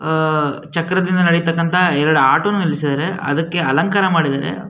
ಆಹ್ಹ್ ಚಕ್ರ ದಿಂದ ನಡಿ ತಕ್ಕಂಥ ಎರಡು ಆಟೋ ನು ನಿಲ್ಸಿದ್ದರೆ ಅದಕ್ಕೆ ಅಲಂಕಾರ ಮಾಡಿದ್ದಾರೆ.